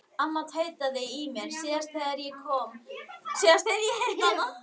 Amma tautaði í mér síðast þegar ég hitti hana.